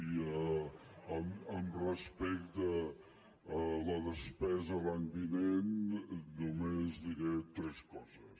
i respecte a la despesa l’any vinent només diré tres coses